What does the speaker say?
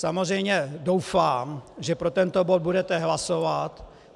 Samozřejmě doufám, že pro tento bod budete hlasovat.